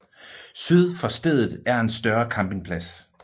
Syd for stedet er en større campingplads